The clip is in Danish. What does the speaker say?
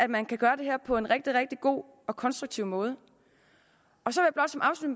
man kan gøre det på en rigtig god og konstruktiv måde så